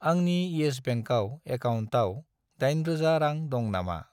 आंनि इयेस बेंकआव एकाउन्टाव 8000 रां दं नामा?